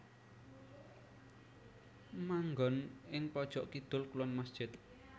Manggon ing pojok kidul kulon masjid